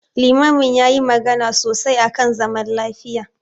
Limamin yayi magana sosai akan zaman lafiya.